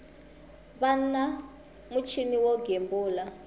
va na muchini wo gembula